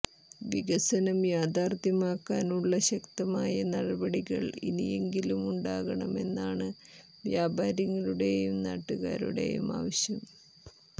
വികസനം യാഥാർഥ്യമാക്കാനുള്ള ശക്തമായ നടപടികൾ ഇനിയെങ്കിലും ഉണ്ടാകണമെന്നാണ് വ്യാപാരികളുടെയും നാട്ടുകാരുടെയും ആവശ്യം